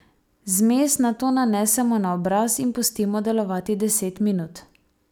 Zmes nato nanesemo na obraz in pustimo delovati deset minut.